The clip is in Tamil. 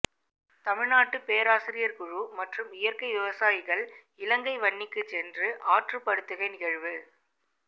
தமிழ் நாட்டு பேராசிரியர் குழு மற்றும் இயற்கை விவசாயிகள் இலங்கை வன்னிக்கு சென்ற ஆற்றுப்படுத்துகை நிகழ்வு